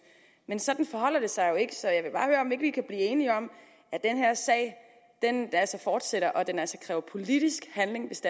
men sådan forholder det sig jo ikke så jeg vil bare høre om ikke vi kan blive enige om at den her sag altså fortsætter og at den kræver politisk handling hvis